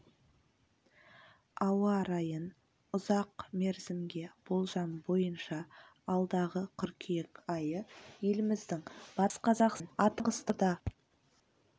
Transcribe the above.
ауа райын ұзақ мерзімге болжам бойынша алдағы қыркүйек айы еліміздің батыс қазақстан атырау маңғыстау қызылорда оңтүстік